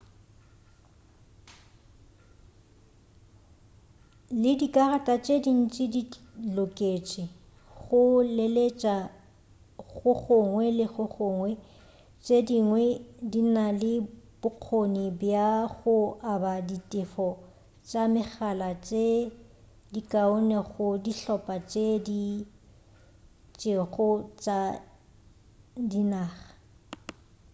le dikarata tše dintši di loketše go leletša go gongwe le go gongwe tše dingwe di na le bokgoni bja go aba ditefo tša megala tše dikaone go dihlopha tše di itšego tša dinaga